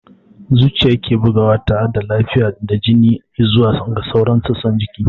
Zuciya ke bugawa tare da tafiyar da jini i'zuwa ga sauran sassan jiki.